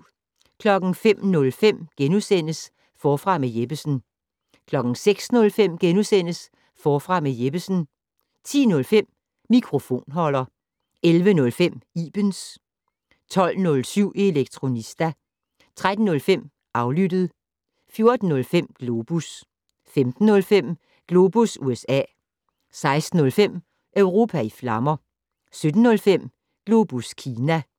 05:05: Forfra med Jeppesen * 06:05: Forfra med Jeppesen * 10:05: Mikrofonholder 11:05: Ibens 12:07: Elektronista 13:05: Aflyttet 14:05: Globus 15:05: Globus USA 16:05: Europa i flammer 17:05: Globus Kina